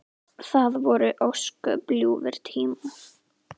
Það voru ósköp ljúfir tímar.